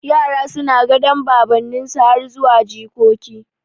Yara suna gadan baban ninsu har zuwa jikoki